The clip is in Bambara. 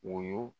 Wo